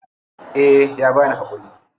Eh ya bani hakuri.